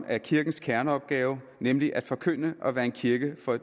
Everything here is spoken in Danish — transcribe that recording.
er kirkens kerneopgave nemlig at forkynde og være en kirke for